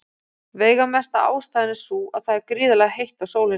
Veigamesta ástæðan er sú að það er gríðarlega heitt á sólinni.